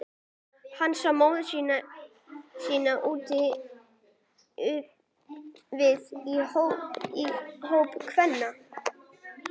Hann sá móður sína úti við í hópi kvenna.